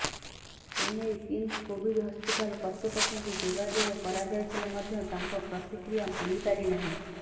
ଏନେଇ KIMS Covid hospital କର୍ତ୍ତୃପକ୍ଷଙ୍କୁ ଯୋଗାଯୋଗ କରାଯାଇଥିଲେ ମଧ୍ୟ ତାଙ୍କ ପ୍ରତିକ୍ରିୟା ମିଳିପାରି ନାହିଁ